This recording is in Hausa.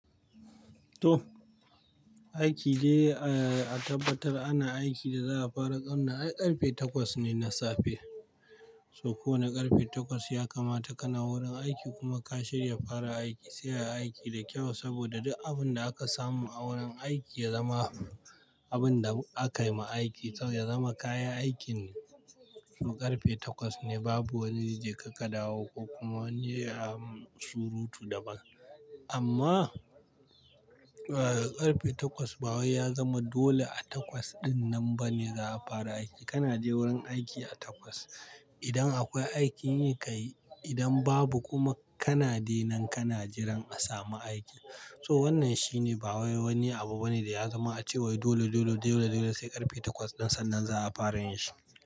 To aiki dai a tabbatar ana aikin da za a fara ƙarna ai ƙarfe takwas ne na safe. So ko wane ƙarfe takwas ya kamata ka na wurin aiki kuma ka shirya fara aiki, sai a yi aiki da kyau saboda duk abin da aka samu a wurin aiki ya zama abin da akai ma aiki, to ya zama kayan aikin. So ƙarfe takwas ne babu wani je ka ka dawo ko kuma wani surutu daban. Amma ƙarfe takwas ba wai ya zama dole a takwas ɗin nan bane za a fara aiki. Kana je wurin aiki a takwas idan akwai aikin yi ka yi, idan babu kuma kana dai nan kana jiran a samu aikin. So wannan shine ba wai wani abu bane da ya zama a cewa dole, dole, dole, dole sai ƙarfe takwas ɗin sannan za a fara yin shi.